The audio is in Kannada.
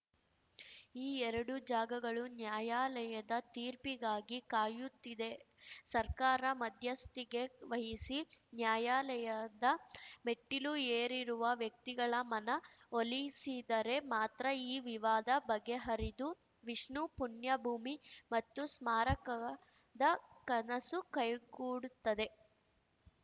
ಈ ಎರಡೂ ಜಾಗಗಳೂ ನ್ಯಾಯಾಲಯದ ತೀರ್ಪಿಗಾಗಿ ಕಾಯುತ್ತಿದೆ ಸರ್ಕಾರ ಮಧ್ಯಸ್ಥಿಕೆ ವಹಿಸಿ ನ್ಯಾಯಾಲಯದ ಮೆಟ್ಟಿಲು ಏರಿರುವ ವ್ಯಕ್ತಿಗಳ ಮನ ಒಲಿಸಿದರೆ ಮಾತ್ರ ಈ ವಿವಾದ ಬಗೆಹರಿದು ವಿಷ್ಣು ಪುಣ್ಯಭೂಮಿ ಮತ್ತು ಸ್ಮಾರಕದ ಕನಸು ಕೈಗೂಡುತ್ತದೆ